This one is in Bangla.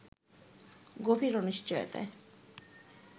গভীর অনিশ্চয়তায়